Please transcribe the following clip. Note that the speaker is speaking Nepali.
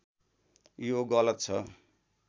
यो गलत छ